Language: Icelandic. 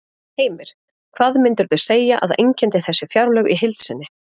Heimir: Hvað myndirðu segja að einkenndi þessi fjárlög í heild sinni?